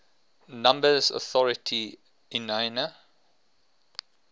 numbers authority iana